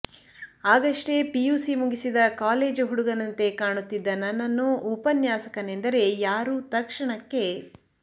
ಆಗಷ್ಟೇ PUC ಮುಗಿಸಿದ college ಹುಡುಗನಂತೆ ಕಾಣುತ್ತಿದ್ದ ನನ್ನನ್ನು ಉಪನ್ಯಾಸಕನೆಂದರೆ ಯಾರೂ ತಕ್ಷಣಕ್ಕೆ